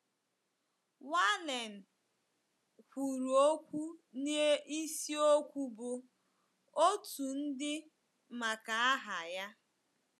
Wallen kwuru okwu n’isiokwu bụ, Otu Ndị Maka Aha Ya.